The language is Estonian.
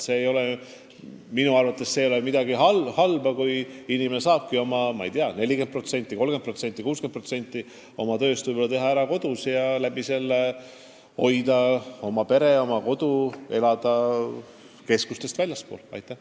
Minu arvates see ei ole üldse mitte halb, kui inimene saab, ma ei tea, 30%, 40%, 60% oma tööst ära teha kodus ja seeläbi ehk ka oma perega keskustest väljaspool elada.